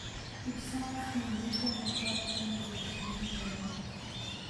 kipsomaninik komokotin kotinyei naet